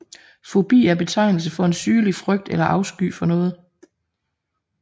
Fobi er betegnelse for en sygelig frygt eller afsky for noget